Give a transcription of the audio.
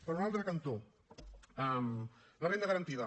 per un altre cantó la renda garantida